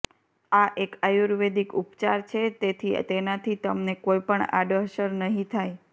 આ એક આયુર્વેદિક ઉપચાર છે તેથી તેનાથી તમને કોઈ પણ આડઅસર નહિ થાય